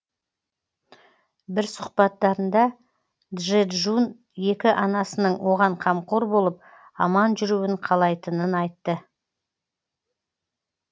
бір сұхбаттарында джэджун екі анасының оған қамқор болып аман жүруін қалайтынын айтты